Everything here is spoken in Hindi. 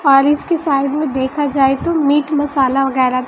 बारिश के साइड में देखा जाए तो मीट मसाला वगैरा--